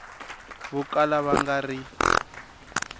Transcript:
vo kala va nga ri